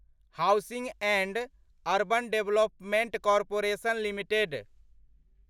housing and urban development corporation limited